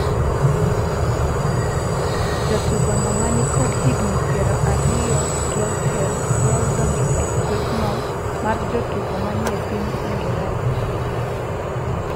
jatugo no ma nikod higni piero ariyo gi auchiel dwaro donjo e kuethno mar jotugo manie piny Ingreza